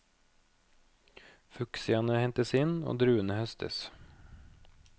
Fuksiaene hentes inn, og druene høstes.